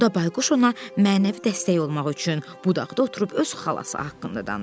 Onda Bayquş ona mənəvi dəstək olmaq üçün budaqda oturub öz xalası haqqında danışırdı.